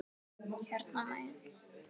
Hérna megin.